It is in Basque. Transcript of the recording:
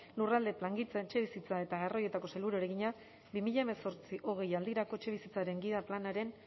lurralde plangintza etxebizitza eta garraioetako sailburuari egina bi mila hemezortzi bi mila hogei aldirako etxebizitzaren gida planaren